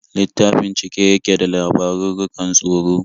Littafin cike yake da labarurrukan tsoro.